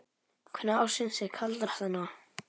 Hvenær ársins er kaldast þarna?